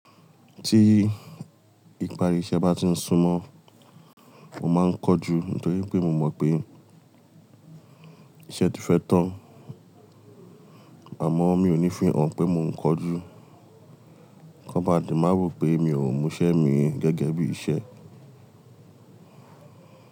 Tí ìparí iṣẹ́ bá ti ń súnmọ́, mo máa ń kanjú nítorí pé mo mọ̀ pé iṣẹ́ ti fẹ́ tán. Àmọ́ mi ò ní fihàn pé mò ń kanjú, kí wọ́n bá le má wo pé mi ò múṣẹ́ mi gẹ́gẹ́ bí iṣẹ́.